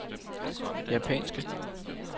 japanske